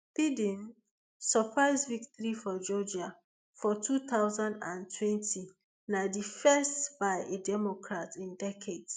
biden surprise victory for georgia for two thousand and twenty na di first by a democrat in decades